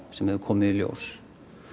sem hefur komið í ljós